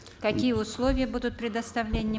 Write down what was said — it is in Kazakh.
какие условия будут предоставления